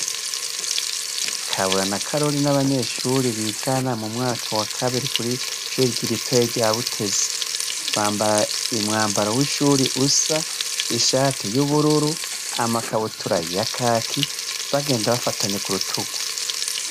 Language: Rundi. Kabura na karori ni abanyeshuri bigana mu mwaka wa kabiri, kw'ishure ritoya rya Butezi; bamabara umwambaro usa, amashati y'ubururu, amakabutura ya kaki, bagenda bafatanye ku rutugu.